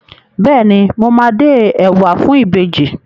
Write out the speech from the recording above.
Bẹ́ẹ̀ni, mo ma day ẹwà fún ìbejì